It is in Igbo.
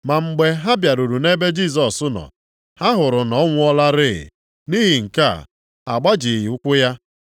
Ma mgbe ha bịaruru nʼebe Jisọs nọ, ha hụrụ na ọ nwụọlarị. Nʼihi nke a, ha agbajighị ụkwụ ya.